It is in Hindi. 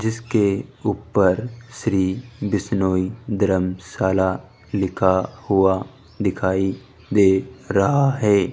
जिसके ऊपर श्री बिश्नोई धर्मशाला लिखा हुआ दिखाई दे रहा है।